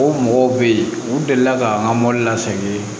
O mɔgɔw bɛ yen u delila ka an ka mɔbili la sɛgi